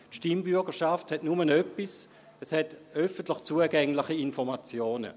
Die Stimmbürgerschaft hat nur etwas, nämlich öffentlich zugängliche Informationen.